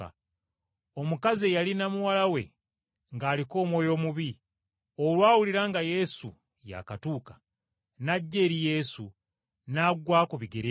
Omukazi eyalina muwala we ng’aliko omwoyo omubi, olwawulira nga Yesu yaakatuuka, n’ajja eri Yesu, n’agwa ku bigere bye.